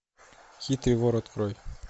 хитрый вор открой